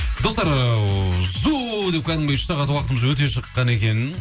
достар ыыы зу деп кәдімгідей үш сағат уақытымыз өте шыққан екен